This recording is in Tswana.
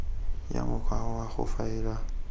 ya mokgwa wa go faela